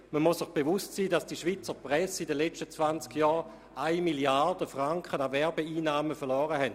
Man muss sich bewusst sein, dass die Schweizer Presse in den vergangenen 20 Jahren 1 Mrd. Franken an Werbeeinnahmen verloren hat.